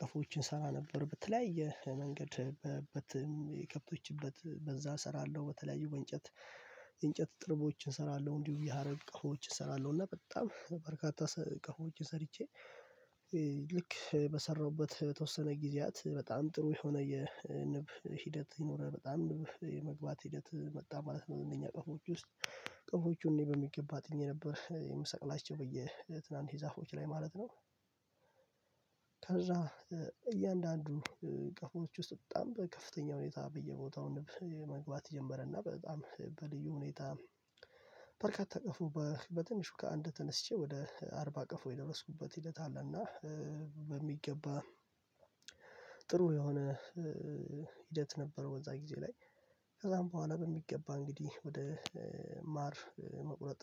ቀፎዎችን እሰራ ነበር በተለያየ መንገድ በት በከብቶች እበት በዛ እሰራለሁ በተለያዩ በእንጨት የእንጨት ጥርቦችን እሰራለሁ እንዲሁም የሀረር ቀፎዎችን እሰራለሁ እና በጣም በርካታ ቀፎዎችን ሰርቼ። ልክ በሰራሁበት በተወሰነ ጊዜያት በጣም ጥሩ የሆነ የንብ ሂደት ይኖረል በጣም ንብ የመግባት ሂደት መጣ ማለት ነው እነኛ ቀፎዎች ውስጥ ቀፎቹን እኔ በሚገባ እጥኜ ነበር የምሰቅላቸው በየትናንሽ ዛፎች ላይ ማለት ነው። ከዛ እያንዳንዱ ቀፎዎች ውስጥ በጣም በከፍተኛ ሁኔታ በየቦታው ንብ መግባት ጀመረና በጣም በልዩ ሁኔታ በርካታ ቀፎ በ በትንሹ ከአንድ ተነስቼ ወደ አርባ ቀፎ የደረስኩበት ሂደት አለና በሚገባ ጥሩ የሆነ ሂደት ነበር። በዛ ጊዜ ላይ ከዛም በኋላ በሚገባ እንግዲህ ወደ ማር መቁረጥ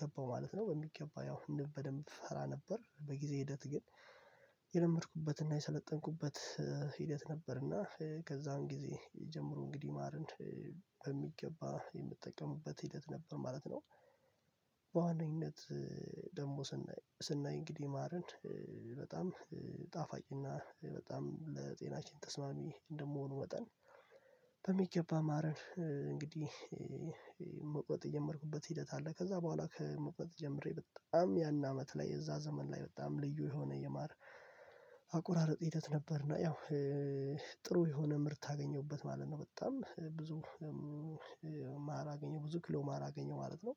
ገባሁ ማለት ነው በሚገባ ያው ንብ በደንብ ፈራ ነበር በጊዜ ሂደት ግን የለመድኩበትና የሰለጠንኩበት ሂደት ነበርና ከዛን ጊዜ ጀምሮ እንግዲህ ማርን በሚገባ የምጠቀሙበት ሂደት ነበር ማለት ነው። በዋነኝነት ደግሞ ስናይ ስናይ እንግዲህ ማርን በጣም ጣፋጭ እና በጣም ለጤናችን ተስማሚ እንደመሆኑ መጠን በሚገባ ማርን እንግዲህ መቁረጥ የጀመርኩበት ሂደት አለ ከዛ በኋላ ከመቁረጥ ጀምሬ በጣም ያን አመት ላይ የዛ ዘመን ላይ በጣም ልዩ የሆነ የማር አቆራረጥ ሂደት ነበር እና ያው ጥሩ የሆነ ምርት አገኘሁበት ማለት ነው። በጣም ብዙ ማር አገኘው ብዙ ኪሎ ማር አገኘሁ ማለት ነው።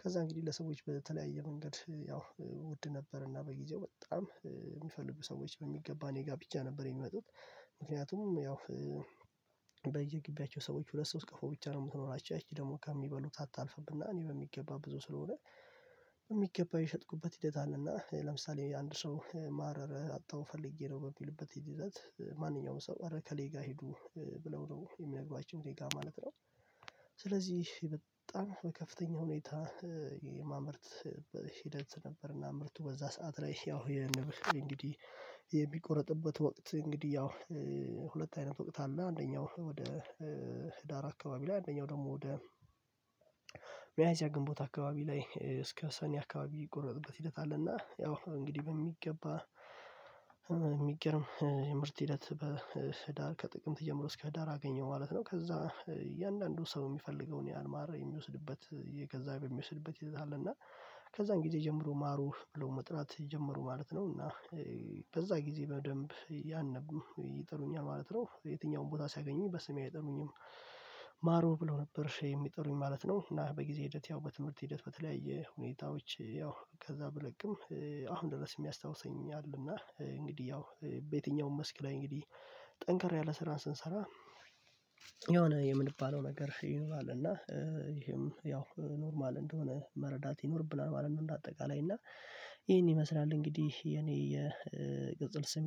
ከዛ እንግዲህ ለሰዎች በተለያየ መንገድ ያው ውድ ነበርና በጊዜው በጣም የሚፈልጉ ሰዎች በሚገባ እኔ ጋር ብቻ ነበር የሚመጡት ምክንያቱም ያው በየጊቢያቸው ሰዎች ሁለት ሶስት ቀፎ ብቻ ነው የምኖራቸው ያቺ ደግሞ ከሚበሉት አታልፍምና እኔ በሚገባ ብዙ ስለሆነ በሚገባ የሸጥኩበት ሂደት አለና ለምሳሌ አንድ ሰው ማር አጠሁ ፈልጌ ነው በሚልበት ሂደት ማንኛውም ሰው ኧረ ኤከሌ ጋር ሂዱ ብለው ነው የሚልኳቸው እኔ ጋር ማለት ነው። ስለዚህ በጣም በከፍተኛ ሁኔታ የማምራት ሂደት ነበርና ምርቱ በዛ ሰዓት ላይ ያው የንብ እንግዲህ የሚቆረጥበት ወቅት እንግዲህ ያው ሁለት አይነት ወቅት አለና አንደኛው ወደ ህዳር አካባቢ ላይ አንደኛው ደግሞ ወደ ሚያዚያ ግንቦት አካባቢ ላይ እስከ ሰኔ አካባቢ የምቆረጥበት ሂደት አለና ያው እንግዲህ በሚገባ የሚገርም የምርት ሂደት በህዳር ከጥቅምት ጀምሮ እስከ ህዳር አገኘው ማለት ነው። ከዛ እያንዳንዱ ሰው የሚፈልገውን ያህል ማር የሚወስድበት እየገዛ በሚወስድበት ሂደት አለና ከዛን ጊዜ ጀምሮ ማሩ ብለው መጥራት ጀምሩ ማለት ነው እና በዛ ጊዜ በደንብ እያንዳንዱ ይጠሩኛል ማለት ነው። የትኛውም ቦታ ሲያገኙኝ በስሜ አይጠሩኝም ማሩ ብለው ነበር የሚጠሩኝ ማለት ነው። እና በጊዜ ሂደት ያው በትምህርት ሂደት በተለያየ ሁኔታዎች ያው ከዛ ብለቅም አሁን ድረስ የሚያስታውሰኝ አለና እንግዲህ ያው በየትኛውም መስክ ላይ እንግዲህ ጠንከር ያለ ስራን ስንሰራ የሆነ የምንባለው ነገር ይኖራል እና በሚገባ ማርን እንግዲህ መቁረጥ የጀመርኩበት ሂደት አለ። ከዛ በኋላ ከመቁረጥ ጀምሬ በጣም ያን አመት ላይ የዛ ዘመን ላይ በጣም ልዩ የሆነ የማር አቁራረጥ ሂደት ነበር እና ያው